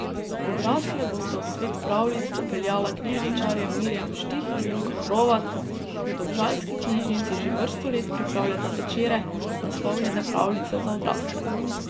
Odrasle bosta v svet pravljic popeljala knjižničarja Mirjam Štih in Luka Hrovat, ki v domžalski knjižnici že vrsto let pripravljata večere, naslovljene Pravljice za odrasle.